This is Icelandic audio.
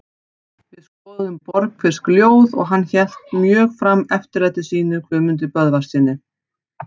Við skoðuðum Borgfirsk ljóð og hann hélt mjög fram eftirlæti sínu Guðmundi Böðvarssyni.